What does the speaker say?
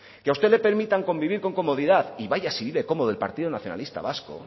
que a usted le permitan convivir con comodidad y vaya si vive cómodo el partido nacionalista vasco